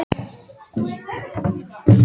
Heimir: Hvað ertu til í að sitja lengi?